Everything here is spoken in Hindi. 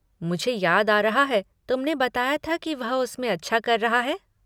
मुझे याद आ रहा है, तुमने बताया था कि वह उसमें अच्छा कर रहा है।